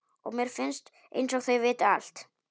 Og mér finnst einsog þau viti allt.